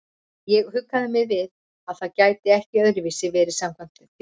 Ég huggaði mig við að það gæti ekki öðruvísi verið samkvæmt ljóðinu.